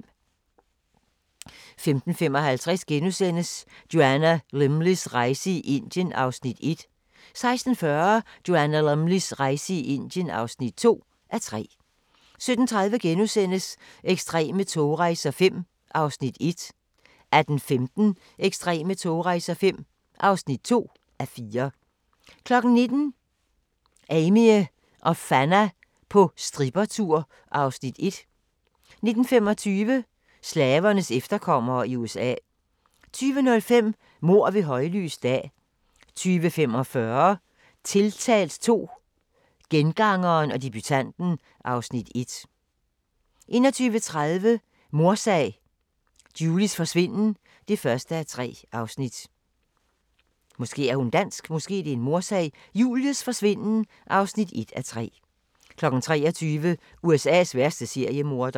15:55: Joanna Lumleys rejse i Indien (1:3)* 16:40: Joanna Lumleys rejse i Indien (2:3) 17:30: Ekstreme togrejser V (1:4)* 18:15: Ekstreme togrejser V (2:4) 19:00: Amie og Fanna på strippertur (Afs. 1) 19:25: Slavernes efterkommere i USA 20:05: Mord ved højlys dag 20:45: Tiltalt II - Gengangeren og debutanten (Afs. 1) 21:30: Mordsag: Julies forsvinden (1:3) 23:00: USA's værste seriemorder